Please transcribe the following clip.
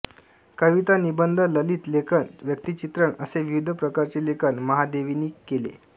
कविता निबंध ललित लेखन व्यक्तिचित्रण असे विविध प्रकारचे लेखन महादेवीनी केले